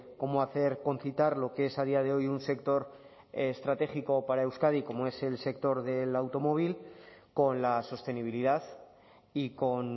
cómo hacer concitar lo que es a día de hoy un sector estratégico para euskadi como es el sector del automóvil con la sostenibilidad y con